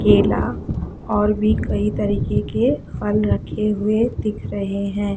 केला और भी कई तरह के फल रखे हुए दिख रहे है।